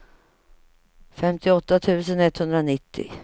femtioåtta tusen etthundranittio